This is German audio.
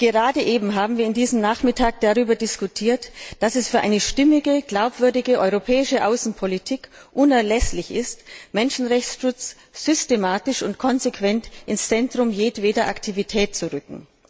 Gerade eben haben wir an diesem Nachmittag darüber diskutiert, dass es für eine stimmige, glaubwürdige europäische Außenpolitik unerlässlich ist, Menschenrechtsschutz systematisch und konsequent ins Zentrum jedweder Aktivität zu rücken.